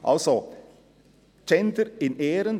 Also, Gender in Ehren.